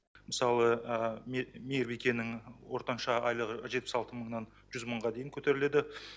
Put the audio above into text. мысалы мейірбикенің ортанша айлығы жетпіс алты мыңнан жүз мыңға дейін көтеріледі